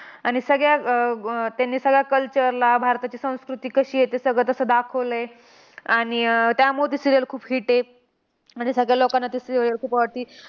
आणि सगळ्या अह त्यांनी सगळ्या culture ला भारताची संस्कृती कशी आहे ते सगळे तसं दाखवलंय. आणि अह त्यामुळे ती serial खूप hit आहे. आणि सगळ्या लोकांना ती स खूप आवडते.